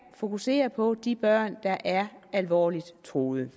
fokusere på de børn der er alvorligt truet